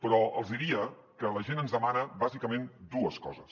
però els diria que la gent ens demana bàsicament dues coses